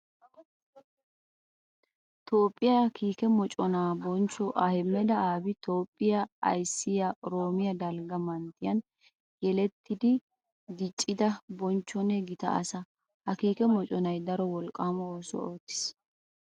Toophphiya kiikke mocona bonchcho Ahmeda Abiy Toophphiya ayssiya oroomo dalgga manttiyan yeletiddi dicidda bonchchonne gita asaa. Ha kiike moconay daro wolqqama oosuwa ootis.